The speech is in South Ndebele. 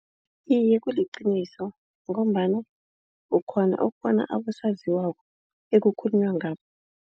Iye kuliqiniso ngombana ukghona ukubona abosaziwako ekukhulunywa ngabo.